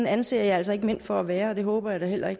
anser jeg altså ikke mænd for at være og det håber jeg da heller ikke